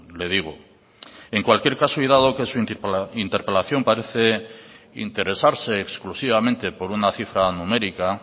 le digo en cualquier caso y dado que su interpelación parece interesarse exclusivamente por una cifra numérica